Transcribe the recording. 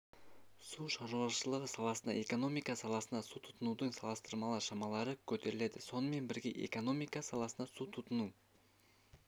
су шаруашылығы салаларында экономика саласында су тұтынудың салыстырмалы шамалары көтерілді сонымен бірге экономика саласында су тұтыну